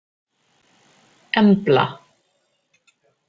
Embla